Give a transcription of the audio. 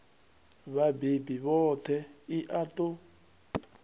vhabebi vhoṱhe i a ṱo